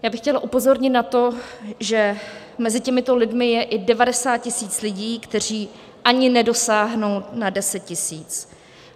Já bych chtěla upozornit na to, že mezi těmito lidmi je i 90 tisíc lidí, kteří ani nedosáhnou na 10 tisíc.